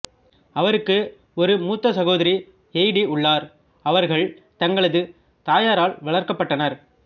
அவருக்கு ஒரு முத்த சகோதரி ஹெய்டி உள்ளார் அவர்கள் தங்களது தாயாரால் வளர்க்கப்பட்டனர்